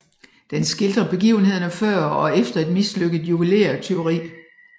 Den skildrer begivenhederne før og efter et mislykket juvelértyveri